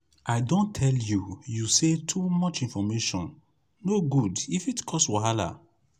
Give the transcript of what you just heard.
i don tell you you sey too much information no good e fit cause wahala.